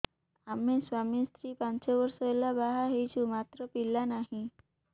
ଆମେ ସ୍ୱାମୀ ସ୍ତ୍ରୀ ପାଞ୍ଚ ବର୍ଷ ହେଲା ବାହା ହେଇଛୁ ମାତ୍ର ପିଲା ନାହିଁ